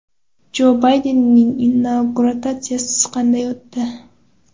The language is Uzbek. Jo Baydenning inauguratsiyasi qanday o‘tdi?.